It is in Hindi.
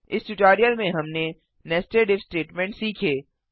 इस ट्यूटोरियल में हमने नेस्टेड इफ स्टेटमेंट सीखे